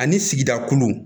Ani sigida kolon